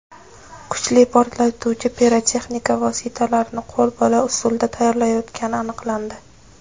kuchli portlovchi pirotexnika vositalarini qo‘l bola usulda tayyorlayotgani aniqlandi.